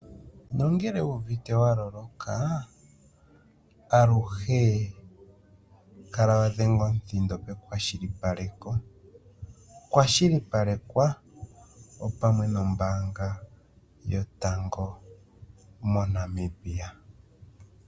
Ngele wuuvite waloloka aluhe kala wadhenga omuthindo pekwashilipaleko, kwa shilipalekwa opamwe nombaanga yotango moNamibia.